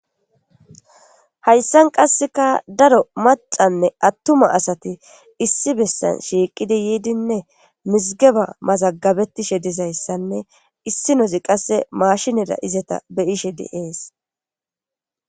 Hayssan qasseka daro macanne attuma asati issi bessan shiiqidi yiidinne mizigeba mazagabetishe dizayssanne issi nozi qasse maashineda izeta beyishe di7ees.